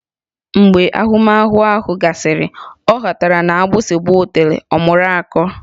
Mgbe ahụmahụ ahụ gasịrị, ọ ghọtara na agbụsị gbaa otulee, ọ mụrụ akọ